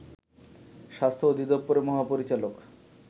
স্বাস্থ্য অধিদপ্তরের মহাপরিচালক